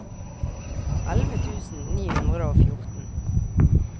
elleve tusen ni hundre og fjorten